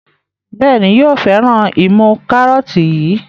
Béèni yóò féràn imú karọọti yí.